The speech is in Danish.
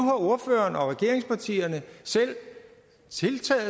ordføreren og regeringspartierne selv taget